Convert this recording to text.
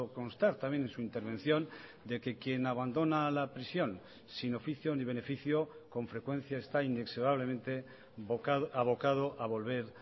constar también en su intervención de que quien abandona la prisión sin oficio ni beneficio con frecuencia está inexorablemente abocado a volver